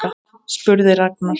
spurði Ragnar.